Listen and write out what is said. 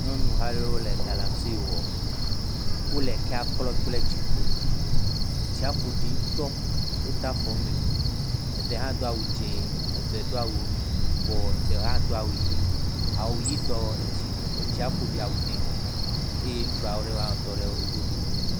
Nyɔnu ha aɖewo le galamsey wɔm, wole ekea klɔm kple tsiƒoɖi, etsia ƒoɖi ŋutɔ, wode afɔ me, eɖe hã do awu dzɛ̃, eɖe hã do awu yibɔ, ɖe hã do awu ʋɛ̃, awuʋɛ̃tɔ, etsia ƒo ɖi awu nɛ eye ŋutsu aɖe….